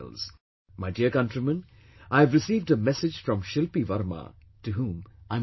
My dear countrymen, I have received a message from Shilpi Varma, to whom I am grateful